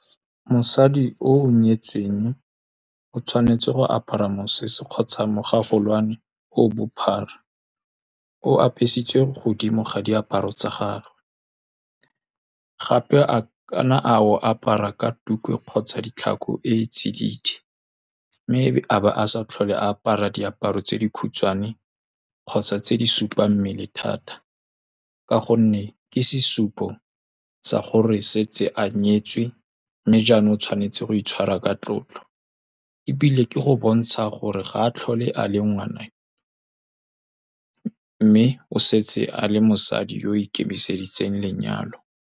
Mosadi o nyetsweng o tshwanetse go apara mosese kgotsa mogagolwane o bophara, o apesitswe godimo ga diaparo tsa gagwe. Gape a ka nna a o apara ka tuku kgotsa ditlhako e tsididi, mme a ba a sa tlhole a apara diaparo tse di khutshwane kgotsa tse di supa g mmele thata. Ka gonne ke sesupo sa gore se tse a nyetswe, mme jaanong o tshwanetse go itshwara ka tlotlo. Ebile ke go bontsha gore ga a tlhole a le ngwana, mme o setse a le mosadi yo o ikemiseditseng lenyalo.